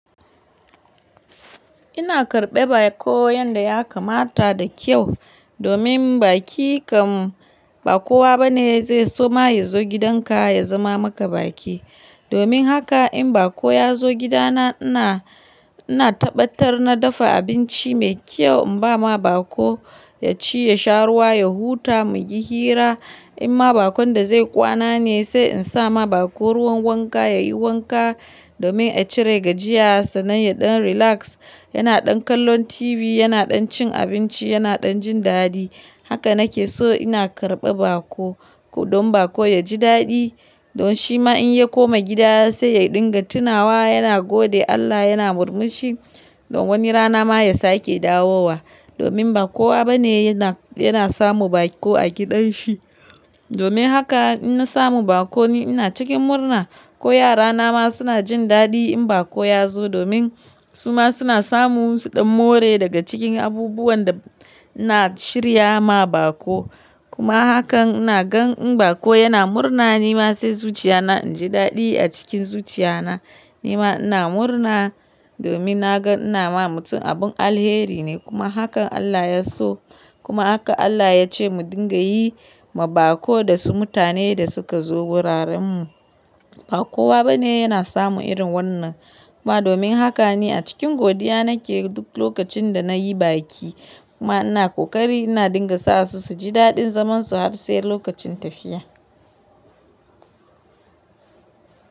Ina karɓe bako yanda ya kamata da kyau domin baki kam ba kowa bane zai so ma ya zo gidan ka ya zama maka baki. Domin haka in bako ya zo gidana ina, ina tabbatar na dafa abinci mai kyau in ba ma bako ya ci, ya sha ruwa, ya huta, mu yi hira. In ma bakon da zai kwana ne sai in sa ma bako ruwan wanka ya yi wanka domin a cire gajiyarsa sannan ya ɗan relax, yana ɗan kallon TV, yana ɗan cin abinci, yana ɗan jin daɗi. Haka nake so ina karɓa baƙo, don bako ya ji daɗi. Don shi ma in ya koma gida sai ya dinga tunawa yana gode Allah, yana murmushi. Don wani rana ma ya sake dawowa. Domin ba kowa bane yana, yana samu bako a gidan shi. Domin haka ina samu bakoni ina cikin murna ko yara na ma suna jin daɗi in bako ya zo domin su ma suna samu su ɗan more daga cikin abubuwan da ina shirya ma bako. Kuma hakan ina gan in bako yana murna ni ma sai zuciya na in ji daɗi a cikin zuciya na. Ni ma ina murna domin na ga ina ma mutum abin alheri ne kuma hakan Allah ya so. Kuma haka Allah ya ce mu dinga yi ma bako da su mutane da suka zo wuraren mu. Ba kowa bane yana samu irin wannan. Kuma domin haka ni a cikin godiya nake duk lokacin da na yi baki. Kuma ina ƙoƙari ina dinga sa su su ji daɗin zaman su har sai lokacin tafiya.